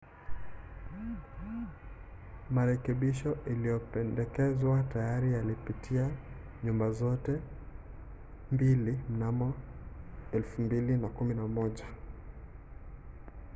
marekebisho yaliyopendekezwa tayari yalipitia nyumba zote mbili mnamo 2011